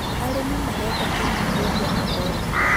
Arĩmi marenda kũnyihĩrio magoti